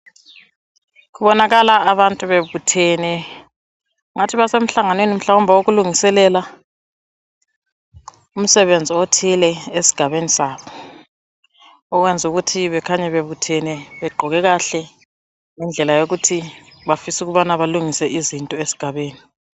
Kubonakala abantu bebuthene. Kungathi basemhlanganweni wokulungiselela, umsebenzi othile esigabeni sabo. Okwenzukuthi bekhanye bebuthene begqoke kahle yindlela yokuthi, bafisa ukubana kulungiswe izinto esigabeni.